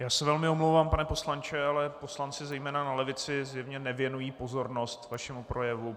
Já se velmi omlouvám, pane poslanče, ale poslanci, zejména na levici, zjevně nevěnují pozornost vašemu projevu.